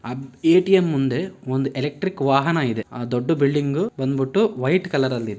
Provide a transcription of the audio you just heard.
ಅಹ್ ATM ಮುಂದೆ ಒಂದ್ electric ವಾಹನ ಇದೆ ಆ ದೊಡ್ದು ಬಿಲ್ಡಿಂಗು ಬಂದ್ಬುಟ್ಟು ವೈಟ್ ಕಲರ್ ಅಲ್ ಇದೆ